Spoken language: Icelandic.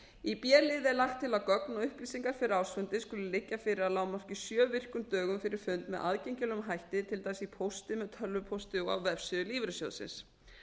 í b lið er lagt til að gögn og upplýsingar fyrir ársfundi skuli liggja fyrir að lágmarki sjö virkum dögum fyrir fund með aðgengilegum hætti til dæmis í pósti með tölvupósti og á vefsíðu lífeyrissjóðsins